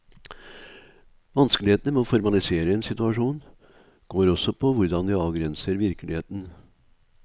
Vanskelighetene med å formalisere en situasjon, går også på hvordan vi avgrenser virkeligheten.